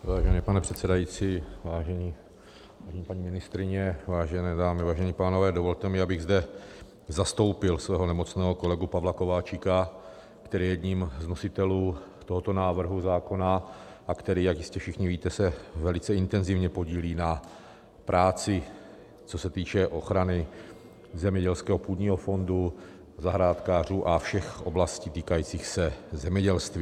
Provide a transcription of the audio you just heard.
Vážený pane předsedající, vážené paní ministryně, vážené dámy, vážení pánové, dovolte mi, abych zde zastoupil svého nemocného kolegu Pavla Kováčika, který je jedním z nositelů tohoto návrhu zákona a který, jak jistě všichni víte, se velice intenzivně podílí na práci, co se týče ochrany zemědělského půdního fondu, zahrádkářů a všech oblastí týkajících se zemědělství.